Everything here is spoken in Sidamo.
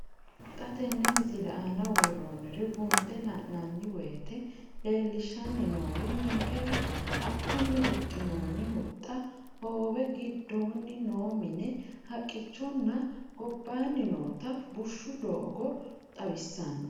Xa tenne missile aana worroonniri buunxe la'nanni woyiite leellishshanni noori ninkera haqqunni huxxinoonni huxxa, hoowe giddoonni noo mine, haqqichonna gobaanni noota bushshu doogo xawissanno.